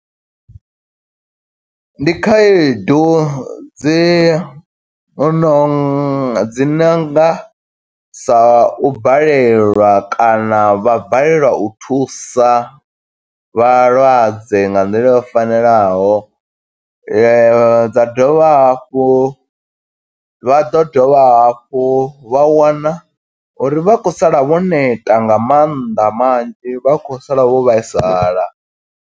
Ndi khaedu dzi no dzi nonga sa u balelwa kana vha balelwa u thusa vhalwadze nga nḓila yo fanelaho. Dza dovha hafhu, vha ḓo dovha hafhu vha wana uri vha khou sala vho neta nga mannḓa manzhi vha khou sala vho vhaisala.